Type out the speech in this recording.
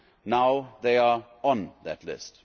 Now they are on that list.